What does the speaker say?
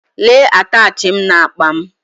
Lee atachi m n’akpa m